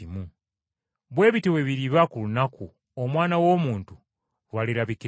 “Bwe bityo bwe biriba ku lunaku, Omwana w’Omuntu lw’alirabikirako.